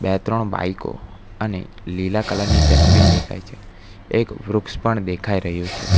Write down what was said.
બે ત્રણ બાઈકો અને લીલા કલરની ડસ્ટબિન દેખાય છે એક વૃક્ષ પણ દેખાઈ રહ્યું છે.